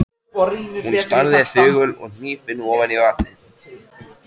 Hún starði þögul og hnípin ofan í vatnið.